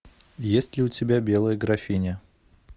есть ли у тебя белая графиня